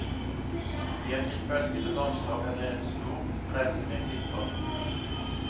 I et litt bølgende landskap er det en stor revne med klipper.